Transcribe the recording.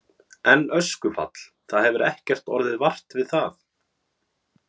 En öskufall, það hefur ekkert orðið vart við það?